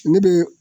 Ne bɛ